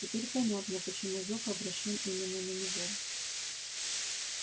теперь понятно почему зов обращён именно на него